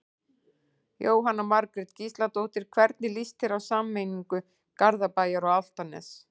Jóhanna Margrét Gísladóttir: Hvernig lýst þér á sameiningu Garðabæjar og Álftanes?